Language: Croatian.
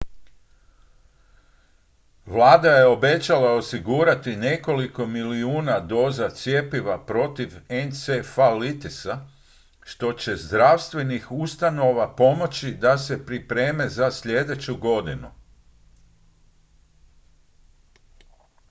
vlada je obećala osigurati nekoliko milijuna doza cjepiva protiv encefalitisa što će zdravstvenih ustanova pomoći da se pripreme za sljedeću godinu